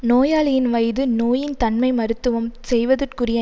நோயாளியின் வயது நோயின் தன்மை மருத்துவம் செய்வதற்குரிய